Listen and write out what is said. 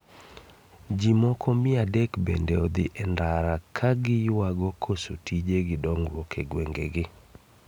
Ji moko mia adek bende odhi e ndara kagiyuago koso tije gi dongruok e gwengegi